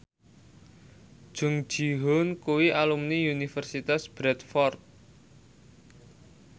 Jung Ji Hoon kuwi alumni Universitas Bradford